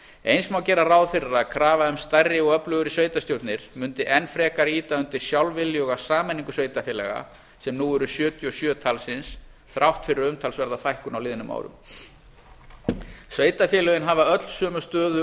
eins má gera ráð fyrir að krafa um stærri og öflugri sveitarstjórnir mundi enn frekar ýta undir sjálfviljuga sameiningu sveitarfélaga sem nú eru sjötíu og sjö talsins þrátt fyrir umtalsverða fækkun á liðnum árum sveitarfélögin hafa öll sömu stöðu